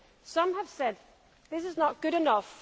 Some have said This is not good enough